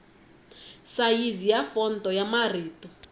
sayizi ya fonto ya marito